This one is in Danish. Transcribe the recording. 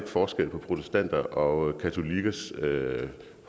forskel på protestanter og katolikkers